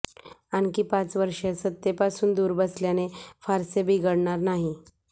आणखी पाच वर्षे सत्तेपासून दूर बसल्याने फारसे बिघडणार नाही